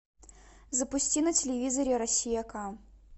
запусти на телевизоре россия к